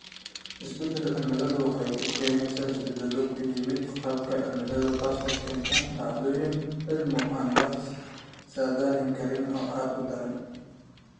Isbeddelka cimiladu waxa uu keenaa isbeddelo ku yimaadda qaababka cimilada, taas oo keenta dhacdooyin cimilo oo aan la saadaalin karin oo aad u daran.